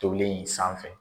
Tolen in sanfɛ.